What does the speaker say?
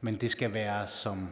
men det skal være som